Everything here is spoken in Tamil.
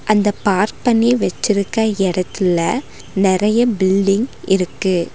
அந்த பார்க் பண்ணி வெச்சிருக்க எடத்துல நெறைய பில்டிங் இருக்கு.